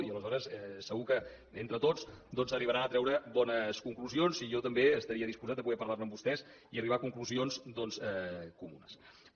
i aleshores segur que entre tots arribaran a treure bones conclusions i jo també estaria disposat de poder parlar ne amb vostès i arribar a conclusions doncs comunes